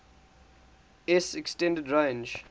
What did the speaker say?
s extended range